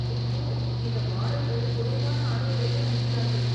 ஐயோ! இந்த மாடல்கள் குறைவான ஆடைகளையே அணிகிறார்கள்.